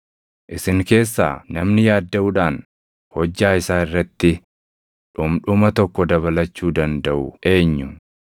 Isin keessaa namni yaaddaʼuudhaan hojjaa isaa irratti dhundhuma tokko dabalachuu dandaʼuu eenyu?